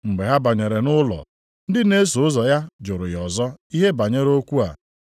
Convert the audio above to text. Mgbe ha banyere nʼụlọ, ndị na-eso ụzọ ya jụrụ ya ọzọ ihe banyere okwu a.